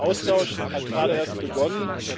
Der Austausch hat gerade erst begonnen.